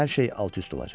Hər şey alt-üst olacaq.